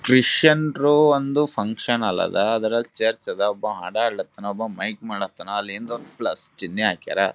ಕ್ರಿಶ್ಚಿಯನ್ರು ಒಂದು function hall ಅದ್ ಅದ್ರಲ್ಲಿ ಚರ್ಚ್ ಅದ್ ಒಬ್ಬ ಹಾಡ್ ಹಾಡ್ಲ ಕತ್ತನ್ ಒಬ್ಬಮೈಕ್ ಮಾಡ್ ಕತ್ತನ್ ಅಲ್ಲ ಹಿಂದ ಒಂದು ಪ್ಲಸ್ ಚಿನ್ನೆ ಹಾಕ್ಯರ್.